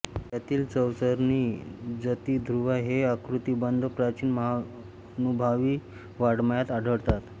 यातील चौचरणी जती ध्रुवा हे आकृतिबंध प्राचीन महानुभावी वाङ्मयात आढळतात